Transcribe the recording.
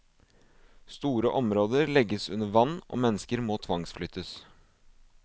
Store områder legges under vann og mennesker må tvangsflyttes.